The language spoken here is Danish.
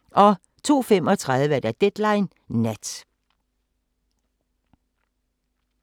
02:35: Deadline Nat